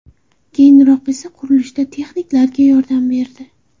Keyinroq esa qurilishda texniklarga yordam berdi.